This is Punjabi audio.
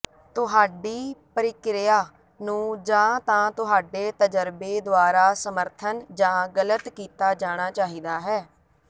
ਤੁਹਾਡੀ ਪਰਿਕਿਰਿਆ ਨੂੰ ਜਾਂ ਤਾਂ ਤੁਹਾਡੇ ਤਜਰਬੇ ਦੁਆਰਾ ਸਮਰਥਨ ਜਾਂ ਗਲਤ ਕੀਤਾ ਜਾਣਾ ਚਾਹੀਦਾ ਹੈ